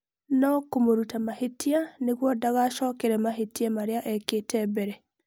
No kũmũruta mahĩtia nĩguo ndagacokere mahĩtia marĩa ekĩte mbere.